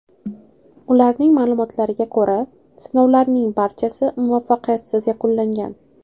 Ularning ma’lumotlariga ko‘ra, sinovlarning barchasi muvaffaqiyatsiz yakunlangan.